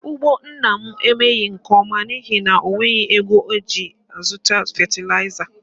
Ugbo nna m emeghị nke ọma n'ihi na o nweghị ego ọ ga-eji zụta fetilaịza